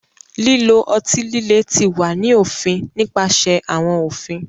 Lilo ọti-lile ti wa ni ofin nipasẹ awọn ofin.